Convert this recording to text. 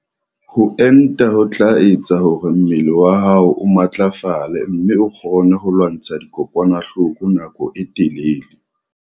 Ho enta ho tla etsa hore mmele wa hao o matlafale mme o kgone ho lwantsha dikokwanahloko nako e telele.